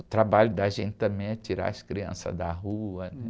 O trabalho da gente também é tirar as crianças da rua.